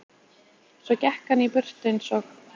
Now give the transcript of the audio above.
Svo gekk hann í burtu eins og